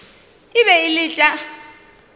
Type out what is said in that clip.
e be e le tša